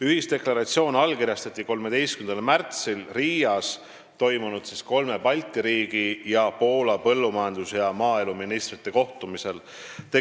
Ühisdeklaratsioon allkirjastati 13. märtsil Riias toimunud kolme Balti riigi ning Poola põllumajandus- ja maaeluministrite kohtumisel.